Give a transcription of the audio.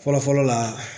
Fɔlɔ fɔlɔ la